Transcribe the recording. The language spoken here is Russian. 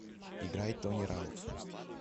играй тони раут